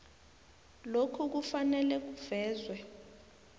lokhu kufanele kuvezwe